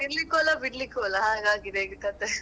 ತಿನ್ಲಿಕ್ಕೂ ಅಲ್ಲ ಬಿಡ್ಲಿಕ್ಕೂ ಅಲ್ಲ ಹಾಗಾಗಿದೆ ಈಗ ಕಥೆ